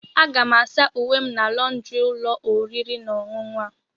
Aga m asa uwe m na lọndrị ụlọ oriri na ọṅụṅụ a.